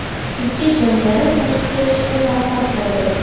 Ikki jangari qochib ketishga muvaffaq bo‘ldi.